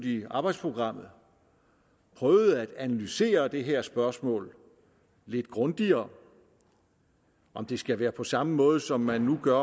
i arbejdsprogrammet prøver at analysere det her spørgsmål lidt grundigere om det skal være på samme måde som man nu gør